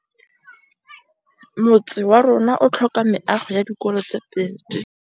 Motse warona o tlhoka meago ya dikolô tse pedi.